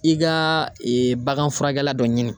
I ka bagan furakɛ la dɔ ɲini